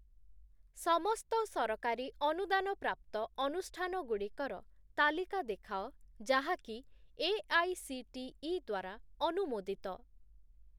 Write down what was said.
ସମସ୍ତ ସରକାରୀ ଅନୁଦାନ ପ୍ରାପ୍ତ ଅନୁଷ୍ଠାନଗୁଡ଼ିକର ତାଲିକା ଦେଖାଅ ଯାହାକି ଏଆଇସିଟିଇ ଦ୍ଵାରା ଅନୁମୋଦିତ ।